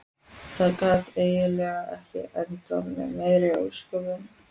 Það gat eiginlega ekki endað með meiri ósköpum.